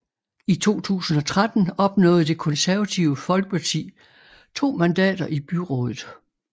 I 2013 opnåede Det Konservative Folkeparti to mandater i byrådet